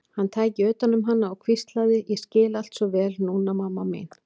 Hann tæki utan um hana og hvíslaði: Ég skil allt svo vel núna, mamma mín.